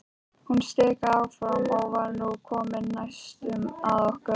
Hún stikaði áfram og var nú komin næstum að okkur.